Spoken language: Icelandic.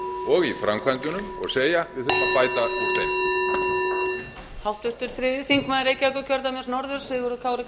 og í framkvæmdunum og segja við þurfum að bæta úr þeim